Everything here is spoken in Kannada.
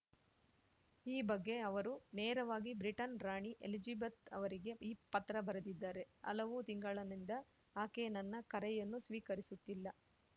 ಈ ಬಗ್ಗೆ ಅವರು ನೇರವಾಗಿ ಬ್ರಿಟನ್‌ ರಾಣಿ ಎಲಿಜಬೆತ್‌ ಅವರಿಗೇ ಪತ್ರ ಬರೆದಿದ್ದಾರೆ ಹಲವು ತಿಂಗಳನಿಂದ ಆಕೆ ನನ್ನ ಕರೆಯನ್ನೂ ಸ್ವೀಕರಿಸುತ್ತಿಲ್ಲ